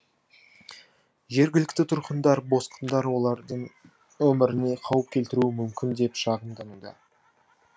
жергілікті тұрғындар босқындар олардың өміріне қауіп келтіруі мүмкін деп шағымдануда